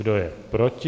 Kdo je proti?